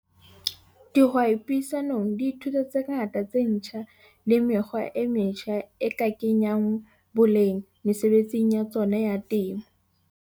Dihwai puisanong di ithuta tse ngata tse ntjha le mekgwa e metjha e ka kenyang boleng mesebetsing ya tsona ya temo.